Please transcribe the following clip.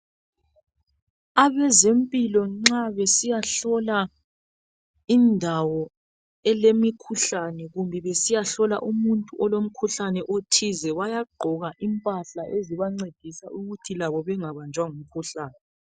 Abezempilo nxa besiyahlola indawo elemikhuhlane kumbe besiyahlola umuntu olomkhuhlane othize bayagqoka impahla ezibancedisa ukuthi labo bengabanjwa ngumkhuhlane.